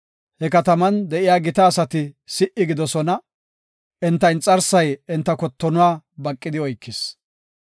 He kataman de7iya gita asati si77i gidoosona; enta inxarsay enta kottonuwa baqidi oykis.